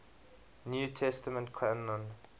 new testament canon